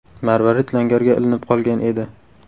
Marvarid langarga ilinib qolgan edi.